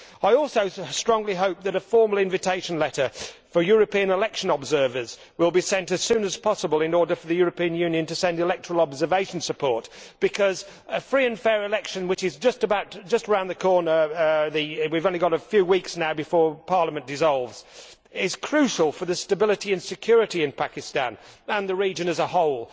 I also strongly hope that a formal invitation letter for European election observers will be sent as soon as possible in order for the European Union to send electoral observation support, because a free and fair election, which is just round the corner we only have a few weeks now before Parliament dissolves is crucial for the stability and security of Pakistan and the region as a whole.